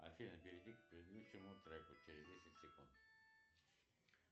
афина перейди к предыдущему треку через десять секунд